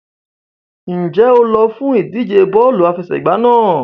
Ǹjẹ́ o lọ fún ìdíje bọ́ọ̀lù àfẹsẹ̀gbá náà?